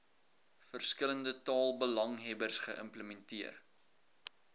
verskillende taalbelanghebbers geïmplementeer